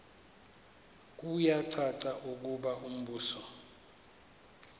kuyacaca ukuba umbuso